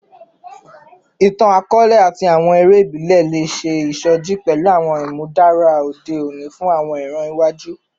Itan-akọọlẹ ati awọn ere ibile le ṣe isoji pẹlu awọn imudara ode oni fun awọn iran iwaju